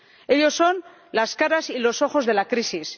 Ellos son las caras y los ojos de la crisis.